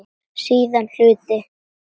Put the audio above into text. Síðari hluti